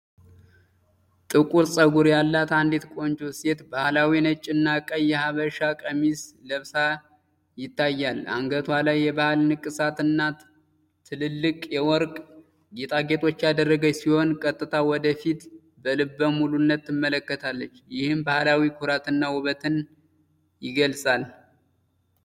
ጥቁር ጸጉር ያላት አንዲት ቆንጆ ሴት ባህላዊ ነጭና ቀይ የሀበሻ ቀሚስ ለብሳ ይታያል። አንገቷ ላይ የባህል ንቅሳት እና ትልልቅ የወርቅ ጌጣጌጦችን ያደረገች ሲሆን፣ ቀጥታ ወደ ፊት በልበ ሙሉነት ትመለከታለች፤ ይህም ባህላዊ ኩራትና ውበትን ይገልጻል።